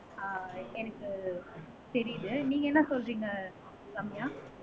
ஆஹ் எனக்கு தெரியுது நீங்க என்ன சொல்றீங்க ரம்யா